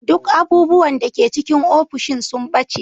Duk abubuwan da ke cikin ofishin sun ɓace.